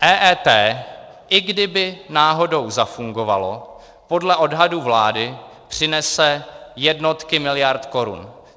EET, i kdyby náhodou zafungovalo, podle odhadů vlády přinese jednotky miliard korun.